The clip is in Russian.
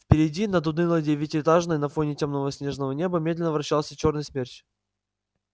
впереди над унылой девятиэтажкой на фоне тёмного снежного неба медленно вращался чёрный смерч